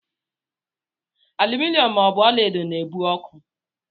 Aluminom ma ọ bụ ọlaedo na-ebu ọkụ.